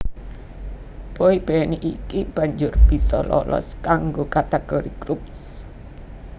Boy band iki banjur bisa lolos kanggo kategori Groups